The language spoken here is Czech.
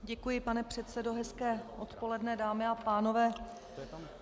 Děkuji, pane předsedo, hezké odpoledne, dámy a pánové.